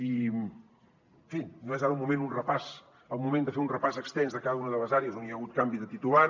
i en fi no és ara el moment de fer un repàs extens de cada una de les àrees on hi ha hagut canvi de titular